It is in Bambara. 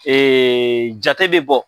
jate bɛ bɔ.